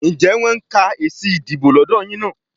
Ǹjẹ́ wọ́n ń ka èsì ìdìbò lọ́dọ̀ yín náà?